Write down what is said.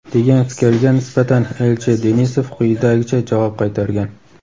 degan fikrga nisbatan elchi Denisov quyidagicha javob qaytargan:.